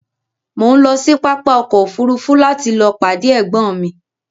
Mo ń lọ sí pápá ọkọ òfúrúúfú láti lọọ pàdé ẹ̀gbọ́n mi